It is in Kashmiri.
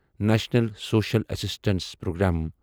national social assistance programme